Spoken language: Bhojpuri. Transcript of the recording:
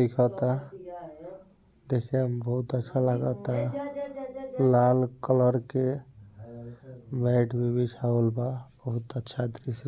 दिखता | देखैमे बहुत अच्छा लागता लाल कलर के मैट भी बिछावल बा बहुत अच्छा द्रस्य --